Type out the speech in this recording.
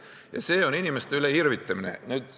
Ja see on inimeste üle irvitamine.